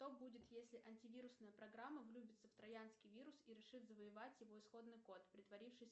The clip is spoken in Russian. что будет если антивирусная программа влюбится в троянский вирус и решит завоевать его исходный код притворившись